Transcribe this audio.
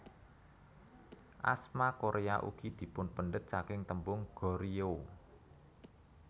Asma Korea ugi dipunpendhet saking tembung Goryeo